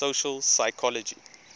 social psychology